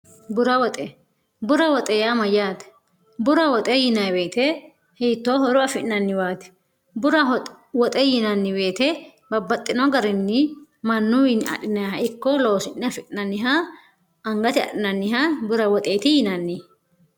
bura woxe bura woxe yaa mayyaate bura woxe yinaiweete hiittoo horu afi'nanniwaati bura woxe yinanniweete babbaxxino garinni mannuwiinni adinaha ikko loosi'ne afi'nanniha angate a'nanniha bura woxeeti yinanni